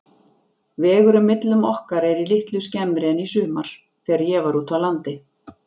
Vegurinn millum okkar er litlu skemmri en í sumar, þegar ég var úti á landi.